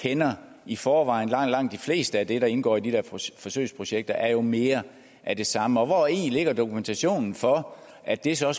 kender i forvejen langt langt det meste af det der indgår i de forsøgsprojekter er jo mere af det samme og hvori ligger dokumentationen for at det så